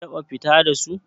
Kin taɓa fita da su?